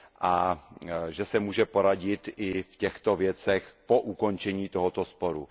a že se může poradit i v těchto věcech po ukončení tohoto sporu.